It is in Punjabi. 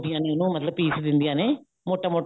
ਤੋੜਦੀਆਂ ਨੇ ਮਤਲਬ ਪੀਸ ਦਿੰਦੀਆਂ ਨੇ ਮੋਟਾ ਮੋਟਾ